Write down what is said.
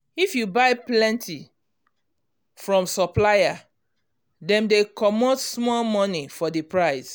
if you buy plenty from supplier dem dey comot small money for the price